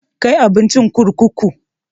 Kai abincin kurkuku!